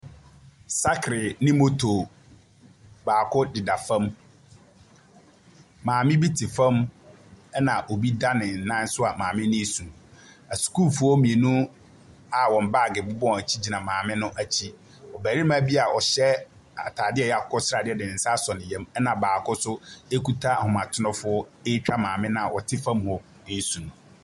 Sakle ne motor baako deda fam. Maame bi te fam. Ɛna obi dan ne nan so a maame no resu. Asukuufoɔ mmienu a wɔn baage bɔ wɔn akyi gyina maame no akyi. Barima bi a ɔhyɛ ataadeɛ a ɛyɛ akokɔsradeɛ de nsa asɔ ne yam. Na baako nso kuta ahoma trofoɔ retwa maame no a ɔte fam hɔ resu.